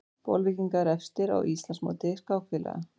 Bolvíkingar efstir á Íslandsmóti skákfélaga